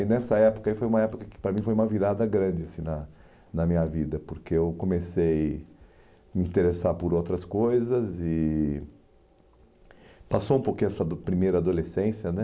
E nessa época ai foi uma época que para mim foi uma virada grande na na minha vida, porque eu comecei me interessar por outras coisas e passou um pouco essa do primeira adolescência, né?